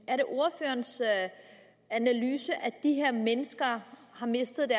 er det ordførerens analyse at de her mennesker har mistet